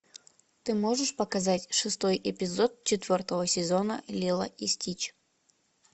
ты можешь показать шестой эпизод четвертого сезона лило и стич